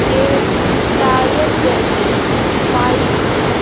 ये टायर जैसी पाइप हैं।